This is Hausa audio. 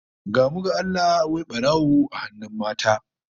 Gamu ga Allah, wai barawo a hannun mata!